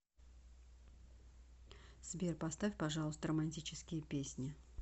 сбер поставь пожалуйста романтические песни